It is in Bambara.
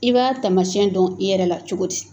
I b'a tamasiyɛn dɔn i yɛrɛ la cogo di ?